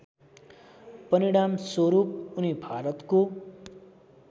परिणामस्वरूप उनी भारतको